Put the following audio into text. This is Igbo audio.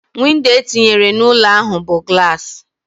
Windo etinyere n'ụlọ ahu bu gulasi